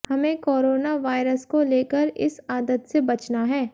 हमें coronavirus को लेकर इस आदत से बचना है